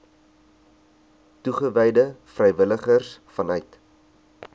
toegewyde vrywilligers vanuit